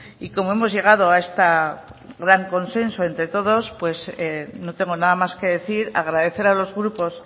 y como hemos llegado a este gran consenso entre todos no tengo nada más que decir agradecer a los grupos